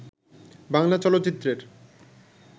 বাংলা চলচ্চিত্রের